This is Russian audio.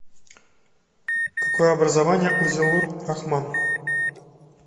какое образование у зиллур рахман